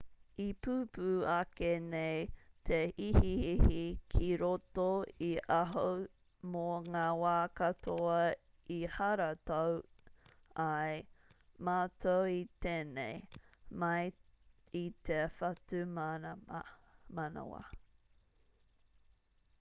i pupū ake nei te ihiihi ki roto i ahau mō ngā wā katoa i haratau ai mātou i tēnei mai i te whatumanawa